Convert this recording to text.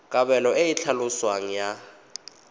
kabelo e e tlhaloswang ya